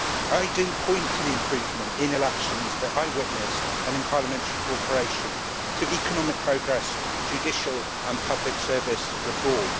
I point to the improvement in elections that I witnessed and in parliamentary cooperation, to economic progress, to judicial and public service reform.